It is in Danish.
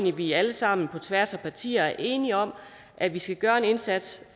at vi alle sammen på tværs af partier er enige om at vi skal gøre en indsats